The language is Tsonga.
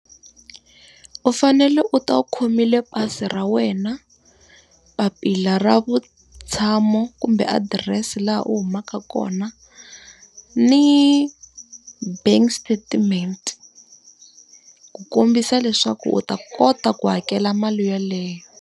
U fanele u ta u khomile pasi ra wena, papila ra vutshamo kumbe adirese laha u humaka kona, ni bank statement. Ku kombisa leswaku u ta kota ku hakela mali yeleyo.